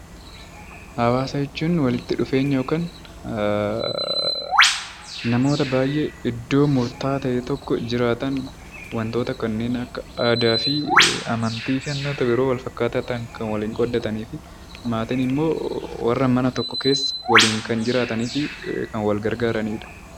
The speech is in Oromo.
Hawaasa jechuun walitti dhufeenya yookiin namoota baay'ee iddoo murtaa'aa ta'e tokko jiraatan wantoota kanneen akka aadaa fi amantii yeroo ta'u yeroo wal fakkaataa ta'an kan waliin qooddatanii fi maatiin immoo warra mana tokko keessa waliin kan jiraatanii fi kan wal gargaaranidha